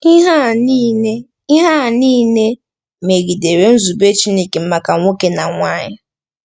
Ihe a nile Ihe a nile megidere nzube Chineke maka nwoke na nwanyị.